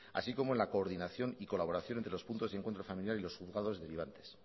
así como en la coordinación y colaboración entre los puntos de encuentro familiar y los juzgados derivantes